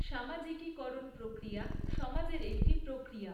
সামাজিকীকরণ প্রক্রিয়া সমাজের একটি প্ৰক্ৰিয়া।